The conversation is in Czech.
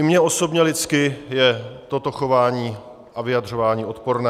I mně osobně lidsky je toto chování a vyjadřování odporné.